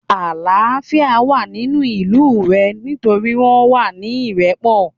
Àlááfíà wà nínú ìlú rẹ̀ nítorí wọ́n wà ní ìrẹ́pọ̀